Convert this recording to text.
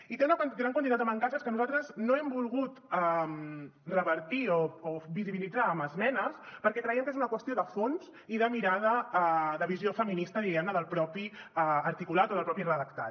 i té una gran quantitat de mancances que nosaltres no hem volgut revertir o visibilitzar amb esmenes perquè creiem que és una qüestió de fons i de mirada de visió feminista diguem ne del propi articulat o del propi redactat